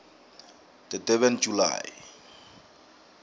the durban july